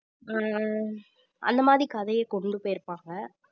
ஹம் அந்த மாதிரி கதைய கொண்டு போயிருப்பாங்க